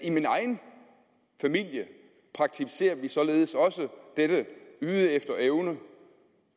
i min egen familie praktiserer vi således også dette yde efter evne